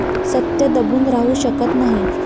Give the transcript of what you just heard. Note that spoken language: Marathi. सत्य दबून राहू शकत नाही.